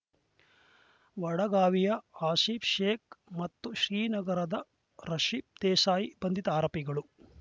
ವಡಗಾವಿಯ ಆಸಿಫ್‌ ಶೇಖ್‌ ಮತ್ತು ಶ್ರೀನಗರದ ರಶಿ ದೇಸಾಯಿ ಬಂಧಿತ ಆರೋಪಿಗಳು